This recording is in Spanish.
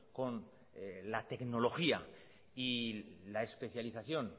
con la tecnología y la especialización